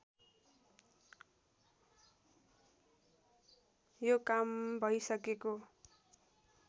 यो काम भैसकेको